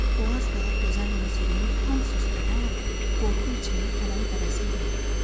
o az qala gözəl musiqinin tam susduğu an qorxu içində tələm-tələsik dedi.